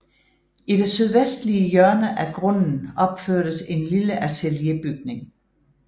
I det sydvestlige hjørne af grunden opførtes en lille atelierbygning